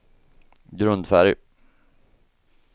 grundfärg